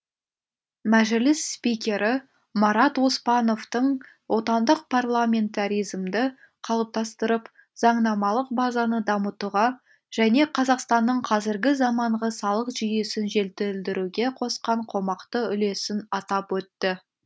мәжіліс спикері марат оспановтың отандық парламентаризмді қалыптастырып заңнамалық базаны дамытуға және қазақстанның қазіргі заманғы салық жүйесін жетілдіруге қосқан қомақты үлесін атап өтті